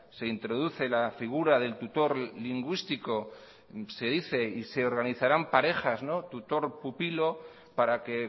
se introduce la figura del tutor lingüístico se dice se organizarán parejas tutor pupilo para que